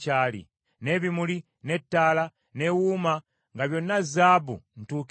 n’ebimuli, ne ttaala, ne wuuma nga byonna zaabu ntuukirivu,